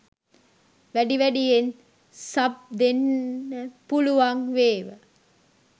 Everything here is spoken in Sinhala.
වැඩි වැඩියෙන් සබ් දෙන්න පුළුවන් වේව